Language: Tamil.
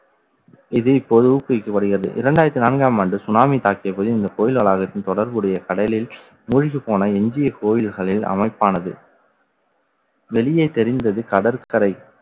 இது, இப்போது ஊக்குவிக்கப்படுகிறது. இரண்டாயிரத்து நான்காம் ஆண்டு சுனாமி தாக்கியபோது இந்த கோயில் வளாகத்தில் தொடர்புடைய கடலில் மூழ்கிப் போன எஞ்சிய கோயில்களில் அமைப்பானது வெளியே தெரிந்தது கடற்கரை